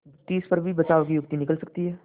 तिस पर भी बचाव की युक्ति निकल सकती है